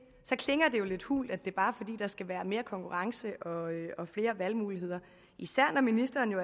jo lidt hult at det bare er fordi der skal være mere konkurrence og og flere valgmuligheder især når ministeren